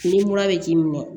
Ni mura bɛ k'i minɛ